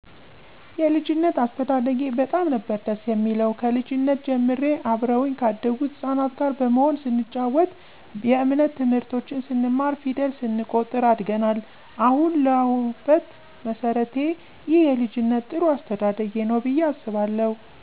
የልጂነት አስተዳደጊ በጣም ነበር ደስ የሚለው ከልጂነት ጀምሬ አብረውኚ ካደጉት ህጻናት ጋር በመሆን ስንጨዋት የእምነት ትምህርቶችን ስንማር ፌደል ስንቆጥር አድገናል አሀን ለሁበት መሠረቴ ይህ የልጂነት ጥሩ አስተዳደጌ ነው ብየ አስባለሁ።